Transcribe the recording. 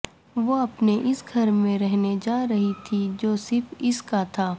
وہ اپنے اس گھر میں رہنے جا رہی تھی جو صرف اس کا تھا